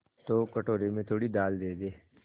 तो कटोरे में थोड़ी दाल दे दे